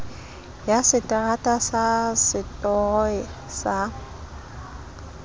ya seterata sa setoro sa